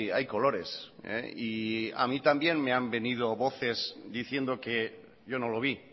hay colores y a mí también me han venido voces diciendo que yo no lo vi